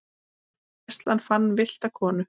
Gæslan fann villta konu